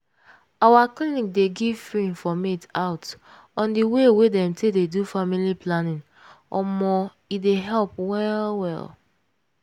our clinic dey give free informate out on way wey dem take dey do family planning omo e dey help well well.